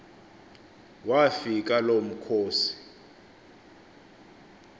wafika lo mkhosi